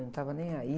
Eu não estava nem aí.